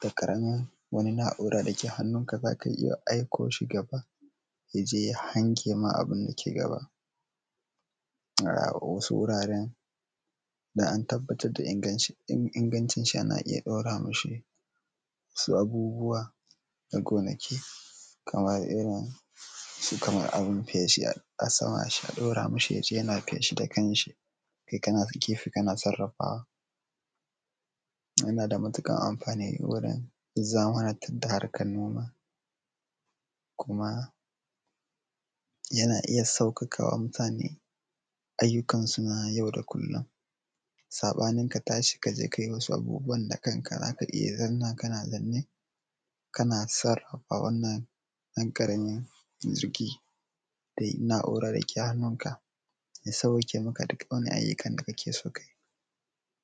da ƙaramin wani naura dake hannunka zaka iya aiko shi gaba ya je ya hange ma abinda yake gaba, a wasu wuraren da an tabbatar da ingancin shi ana iya ɗaura mishi wasu abubuwa, na gonaki, kaman irin su abin feshi, a sama a ɗaura mishi ya je yana feshi da kan shi, kai kana gefe kana sarrafawa, yana da matuƙar amfani wurin zamanantar da harkan noma, kuma yana iya sauƙaƙawa mutane ayyukansu na yau da kullum. Saɓanin ka tashi kaje kai wasu ayyukan da kanka, zaka iya zanna kana zaune kana sarrafa wannan ɗan ƙaramin jirgi, da nauran dake hannunka, ya sawwaƙe maka duk wani ayyukan da kake so kayi.